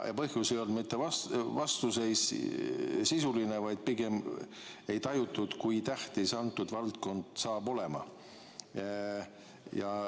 Põhjus ei olnud mitte sisuline vastuseis, vaid pigem see, et ei tajutud, kui tähtis see valdkond on.